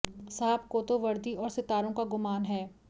साहब को तो वर्दी और सितारों का गुमान है